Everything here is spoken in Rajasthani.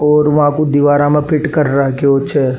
और वहां पे दीवारा में फिट कर राखयो छे।